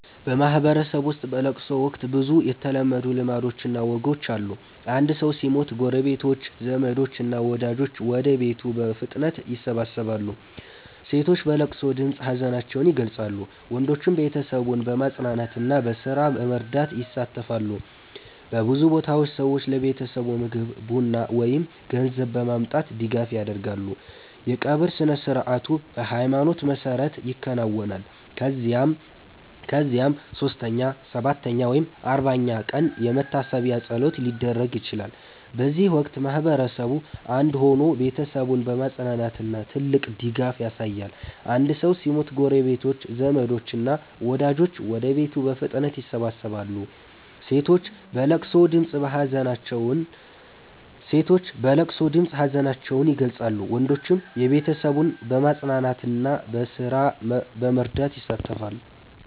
በማህበረሰብ ውስጥ በለቅሶ ወቅት ብዙ የተለመዱ ልማዶችና ወጎች አሉ። አንድ ሰው ሲሞት ጎረቤቶች፣ ዘመዶች እና ወዳጆች ወደ ቤቱ በፍጥነት ይሰበሰባሉ። ሴቶች በለቅሶ ድምፅ ሀዘናቸውን ይገልጻሉ፣ ወንዶችም ቤተሰቡን በማጽናናትና በስራ በመርዳት ይሳተፋሉ። በብዙ ቦታዎች ሰዎች ለቤተሰቡ ምግብ፣ ቡና ወይም ገንዘብ በማምጣት ድጋፍ ያደርጋሉ። የቀብር ስነ-ሥርዓቱ በሃይማኖት መሰረት ይከናወናል፣ ከዚያም 3ኛ፣ 7ኛ ወይም 40ኛ ቀን የመታሰቢያ ፀሎት ሊደረግ ይችላል። በዚህ ወቅት ማህበረሰቡ አንድ ሆኖ ቤተሰቡን በማጽናናት ትልቅ ድጋፍ ያሳያል። አንድ ሰው ሲሞት ጎረቤቶች፣ ዘመዶች እና ወዳጆች ወደ ቤቱ በፍጥነት ይሰበሰባሉ። ሴቶች በለቅሶ ድምፅ ሀዘናቸውን ይገልጻሉ፣ ወንዶችም ቤተሰቡን በማጽናናትና በስራ በመርዳት ይሳተፋሉ።